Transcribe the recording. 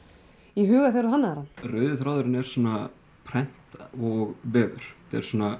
í huga þegar þú hannaðir hann rauði þráðurinn er svona prent og vefur þetta er svona